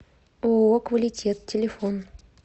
ооо квалитет телефон